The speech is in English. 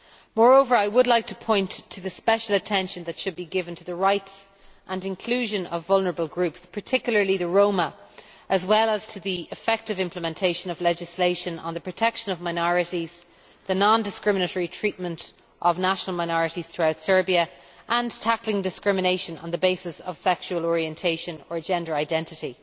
Moreover, I would like to point to the special attention that should be given to the rights and inclusion of vulnerable groups particularly the Roma as well as to the effective implementation of legislation on the protection of minorities, the non discriminatory treatment of national minorities throughout Serbia and tackling discrimination on the basis of sexual orientation or gender identity.